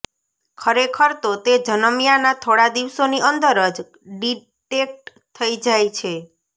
ખરેખર તો તે જન્મ્યાના થોડા દિવસોની અંદર જ ડિટેક્ટ થઈ જાય છે